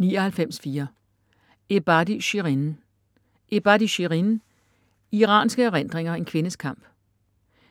99.4 Ebadi, Shirin Ebadi, Shirin: Iranske erindringer: en kvindes kamp